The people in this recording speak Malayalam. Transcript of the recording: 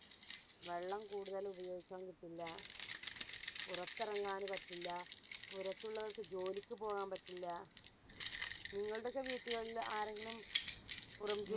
വെള്ളം കൂടുതൽ ഉപയോഗിക്കാൻ പറ്റില്ല പുറത്തെറങ്ങാൻ പറ്റില്ല പുറത്തുള്ളവർക്ക് ജോലിക്ക് പോകാൻ പറ്റില്ല നിങ്ങളുടെയൊക്കെ വീടുകളില് ആരെങ്കിലും പുറം ജോലി